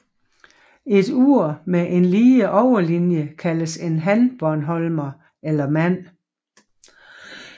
Et ur med en lige overlinie kaldes en hanbornholmer eller mand